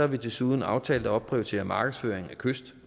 vi desuden aftalt at opprioritere markedsføringen af kyst